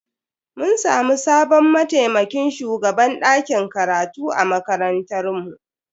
Mun samu sabon mataimakin shugaban dakin karatu a makarantar mu.